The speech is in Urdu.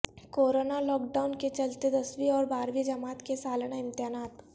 کورنا لاک ڈائون کے چلتے دسویں اور بارہویں جماعت کے سالانہ امتحانات